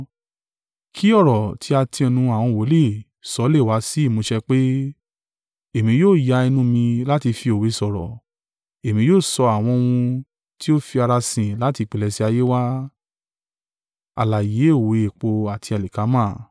Kí ọ̀rọ̀ tí a ti ẹnu àwọn wòlíì sọ lé wá sí ìmúṣẹ pé: “Èmi yóò ya ẹnu mi láti fi òwe sọ̀rọ̀. Èmi yóò sọ àwọn ohun tí ó fi ara sin láti ìpilẹ̀ṣẹ̀ ayé wá.”